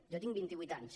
jo tinc vint i vuit anys